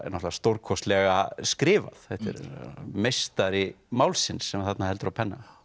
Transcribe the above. náttúrulega stórkostlega skrifað þetta er meistari málsins sem þarna heldur á penna